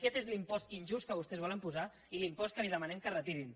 aquest és l’impost injust que vostès volen posar i l’impost que els demanem que retirin